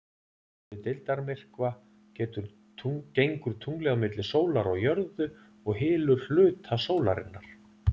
við deildarmyrkva gengur tunglið á milli sólar og jörðu og hylur hluta sólarinnar